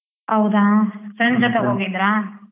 ಹೌದಾ, friends ಜೊತೆ ಹೋಗಿದ್ರ?